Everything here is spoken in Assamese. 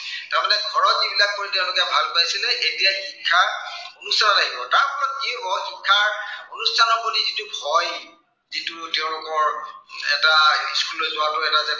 তাৰমানে ঘৰত যিবিলাক কৰি তেওঁলোকে ভাল পাইছিলে, এতিয়া শিক্ষাৰ গুৰুত্ব বাঢ়িব। তাৰ ফলত কি হব, শিক্ষাৰ অনুষ্ঠানৰ প্ৰতি যিটো ভয়, যিটো তেওঁলোকৰ এটা school লৈ যোৱাৰ আগতে এটা যে